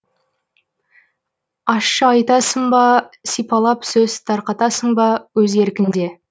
ащы айтасың ба сипалап сөз тарқатасың ба өз еркіңде